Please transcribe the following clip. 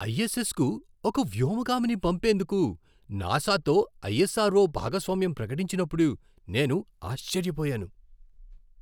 ISS కు ఒక వ్యోమగామిని పంపేందుకు నాసా తో ఐఎస్ఆర్ఓ భాగస్వామ్యం ప్రకటించినప్పుడు నేను ఆశ్చర్యపోయాను!